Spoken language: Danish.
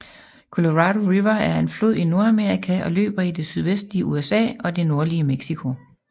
Colorado River er en flod i Nordamerika og løber i det sydvestlige USA og det nordlige Mexico